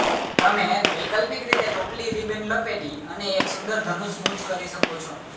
તમે વૈકલ્પિક રીતે ટોપલી રિબન લપેટી અને એક સુંદર ધનુષ ગૂંચ કરી શકો છો